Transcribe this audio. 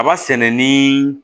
Aba sɛnɛ ni